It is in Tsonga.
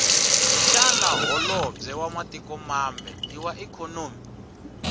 shana hholobwe wamatiko mambe iwaikonomi